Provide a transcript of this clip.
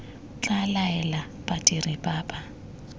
tla laela badiri ba ba